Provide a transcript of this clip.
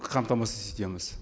қамтамасыз етеміз